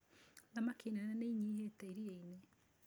Thamaki nene nĩ inyihĩte iria-inĩ.